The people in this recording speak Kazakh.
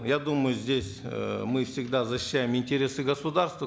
я думаю здесь э мы всегда защищаем интересы государства